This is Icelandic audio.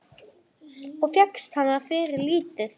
Og fékkst hana fyrir lítið!